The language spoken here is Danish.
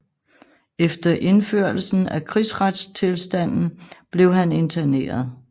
Efter indførelsen af krigsretstilstanden blev han interneret